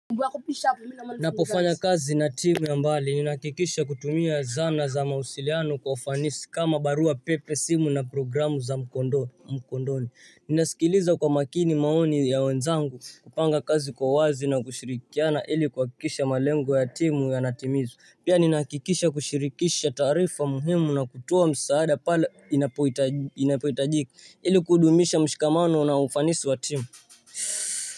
Ninapofanya kazi na timu ya mbali, ninahakikisha kutumia zana za mawasiliano kwa ufanisi, kama barua pepe, simu na programu za mkondoni. Ninasikiliza kwa makini maoni ya wenzangu, kupanga kazi kwa wazi na kushirikiana ili kuhakikisha malengo ya timu yanatimizwa. Pia ninahakikisha kushirikisha taarifa muhimu na kutoa msaada pale inapohitajika ili kudumisha. Mshikamano na ufanisi wa timu.